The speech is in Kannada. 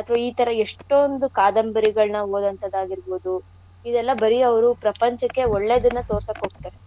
ಅದು ಈತರ ಎಷ್ಟೋಂದು ಕಾದಂಬರಿಗಳ್ನ ಓದೋಂಥದ್ ಆಗಿರ್ಬೋದು ಇದೆಲ್ಲ ಬರೀ ಅವ್ರು ಪ್ರಪಂಚಕ್ಕೆ ಒಳ್ಳೇದನ್ನ ತೋರ್ಸಕ್ಹೋತರೆ.